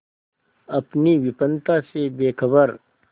अपनी विपन्नता से बेखबर